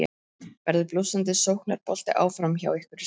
Verður blússandi sóknarbolti áfram hjá ykkur í sumar?